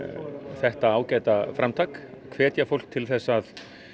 þetta ágæta framtak hvetja fólk til þess að